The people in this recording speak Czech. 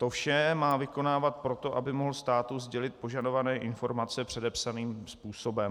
To vše má vykonávat proto, aby mohl státu sdělit požadované informace předepsaným způsobem.